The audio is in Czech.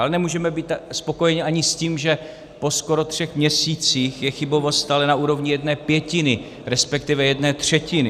Ale nemůžeme být spokojeni ani s tím, že po skoro třech měsících je chybovost stále na úrovni jedné pětiny, respektive jedné třetiny.